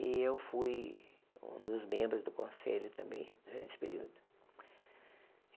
E eu fui um dos membros do Conselho também, nesse período.